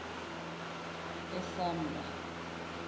esamla